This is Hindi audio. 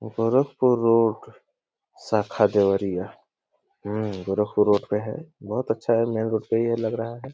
गोरखपुर रोड शाखा देवरिया हम्म गोरखपुर रोड पे है। बहुत अच्छा है। मेन रोड पे ही है लग रहा है।